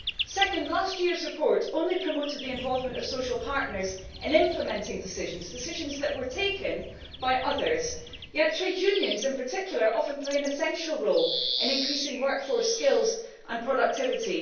Second, last year's report only promoted the involvement of social partners in implementing decisions decisions that were taken by others yet trade unions in particular often play an essential role in increasing workforce skills and productivity.